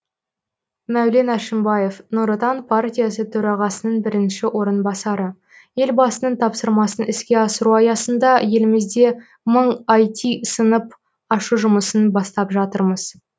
мәулен әшімбаев нұр отан партиясы төрағасының бірінші орынбасары елбасының тапсырмасын іске асыру аясында елімізде мың іт сынып ашу жұмысын бастап жатырмыз